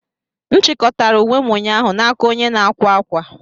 M chịkọtara uwe m ụnyaahụ n'aka onye na-akwa akwa.